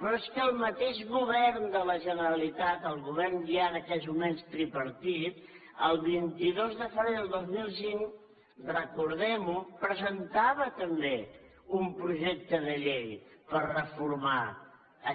però és que el mateix govern de la generalitat el govern ja en aquells moments tripartit el vint dos de febrer del dos mil cinc recordem ho presentava també un projecte de llei per reformar